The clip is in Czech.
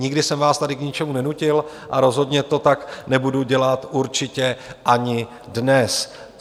Nikdy jsem vás tady k ničemu nenutil a rozhodně to tak nebudu dělat určitě ani dnes.